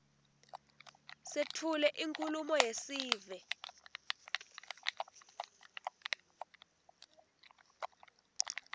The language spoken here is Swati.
setfule inkhulumo yesive